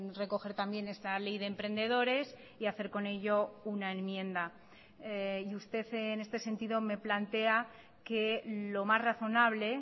recoger también esta ley de emprendedores y hacer con ello una enmienda y usted en este sentido me plantea que lo más razonable